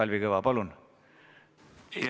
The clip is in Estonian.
Kalvi Kõva, palun!